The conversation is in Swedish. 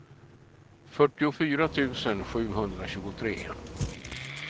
fyrtiofyra tusen sjuhundratjugotre